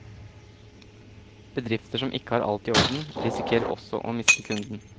Bedrifter som ikke har alt i orden, risikerer også å miste kunden.